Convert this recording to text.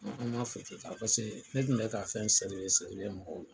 an ma ta. Paseke ne tun bɛ ka fɛn mɔgɔw la.